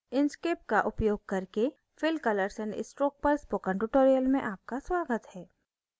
inkscape का उपयोग करके fill color and stroke पर spoken tutorial में आपका स्वागत है